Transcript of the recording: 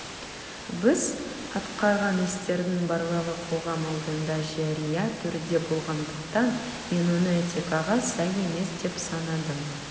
біз атқарған істердің барлығы қоғам алдында жария түрде болғандықтан мен оны этикаға сай емес деп санадым